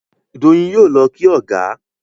Doyin yóò ló kí ọgá.